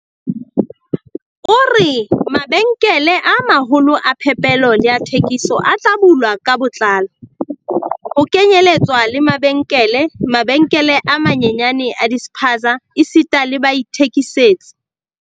O re, Mabenkele a ma-holo a phepelo le a thekiso a tla bulwa ka botlalo, ho kenyeletswa le mabenkele, mabenkele a manyenyane a di-spaza esita le baithekisetsi.